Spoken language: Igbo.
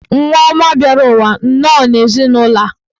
Nwa ọma bịara ụwa nnọọ n'ezinụlọ a.